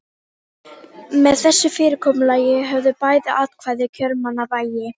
Með þessu fyrirkomulagi höfðu bæði atkvæði kjörmanna vægi.